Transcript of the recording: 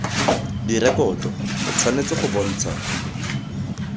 direkoto o tshwanetse go bontsha